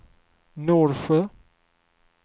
Norsjö